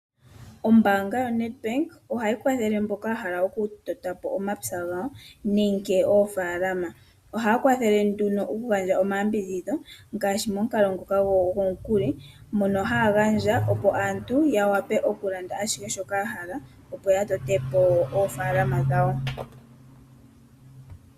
Ombaanga yoNEDBANK ohayi kwathele aantu mboka ya hala oku tota po